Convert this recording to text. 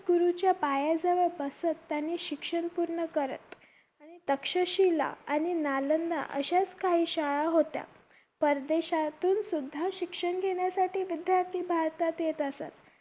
गुरुच्या पाया जवळ बसत त्यांनी शिक्षण पुर्ण करत आणि तक्षशिला आणि नालंदा अशा स्थाही शाळा होत्या परदेशातून सुध्दा शिक्षण घेण्यासाठी विद्यार्थी भारतात येत असत